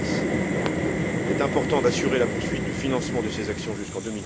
2010. Il est important d'assurer la poursuite du financement de ces actions jusqu'en